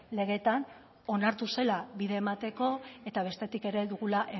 legeetan onartu zela bide emateko eta bestetik ere dugula